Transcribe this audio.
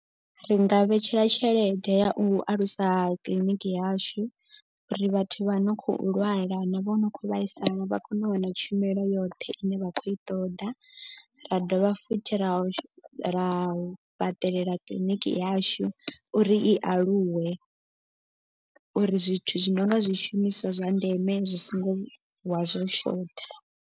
Ri nga vhetshela tshelede ya u alusa kiḽiniki yashu. Uri vhathu vha no khou lwala na vho no khou vhaisala vha kone u wana tshumelo yoṱhe ine vha khou i ṱoḓa. Ra dovha futhi ra ra fhaṱelela kiḽiniki yashu uri i aluwe. Uri zwithu zwi no nga zwishumiswa zwa ndeme zwi so ngo vuwa zwo shotha.